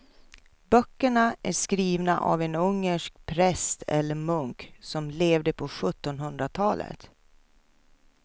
Böckerna är skrivna av en ungersk präst eller munk som levde på sjuttonhundratalet.